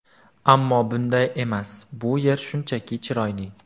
Ammo bunday emas, bu yer shunchaki chiroyli”.